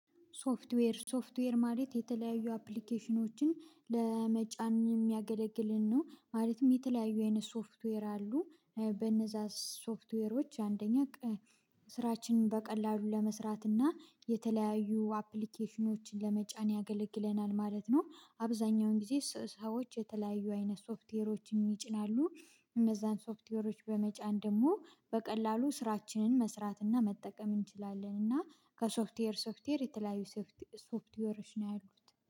ሶፍትዌር ሶፍትዌር ማለት የተለያዩ አፕሊኬሽኖችን ለመጫን የሚያገለግልን ነው ማለትም የተለያዩ አይነት ሶፍትዌር አሉ በነዛ ሶፍትዌሮች አንደኛ ስራችንን በቀላሉ ለመስራት እና የተለያዩ አፕሊኬሽኖችን ለመጫን ያገለግለናል ማለት ነው። አብዛኛውን ጊዜ ሰዎች የተለያዩ አይነት ሶፍትዌሮችን ይጭናሉ። እነዛን ሶፍትዌሮች በመጫን ደግሞ በቀላሉ ስራችንን መስራት እና መጠቀም እንችላለን እና ከሶፍትዌር ሶፍትዌር የተለያዩ ሶፍትዌሮች ነው ያሉት